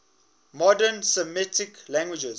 modern semitic languages